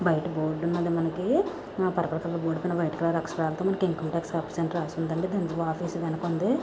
బయట బోర్డు ఉన్నది మనకీ ఆ పుర్పుల్ కలర్ బోర్డు పైన వైట్ కలర్ అక్షరాలతో మనకి ఇన్కమ్ టాక్స్ ఆఫీస్ అని రాసిందండి ఆఫీస్ వెనకుంది.